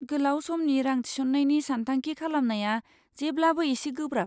गोलाव समनि रां थिसननायनि सानथांखि खालामनाया जेब्लाबो एसे गोब्राब।